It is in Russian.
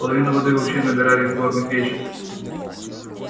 половину воды вообще набирали из горных речек